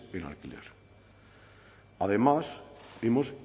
en alquiler además hemos